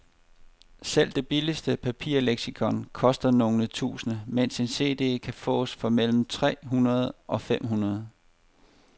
Selv det billigste papirleksikon koster nogle tusinde, mens en cd kan fås for mellem tre hundrede og fem hundrede.